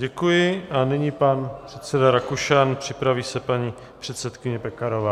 Děkuji a nyní pan předseda Rakušan, připraví se paní předsedkyně Pekarová.